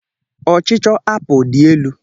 Ọ ọchịchọ apụl dị elu.